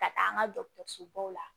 Ka taa an ka dɔgɔtɔrɔsobaw la